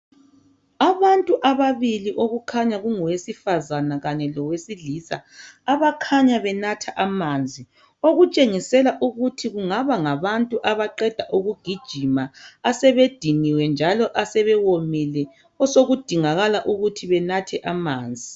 Abantu ababili kukhanya kungowesifazana kanye lowesilisa abakhanya benatha amanzi okutshengisela ukuthi kungaba ngabantu abaqeda ukugijima asebediniwe njalo asebewomile osokudingakala ukuthi banathe amanzi.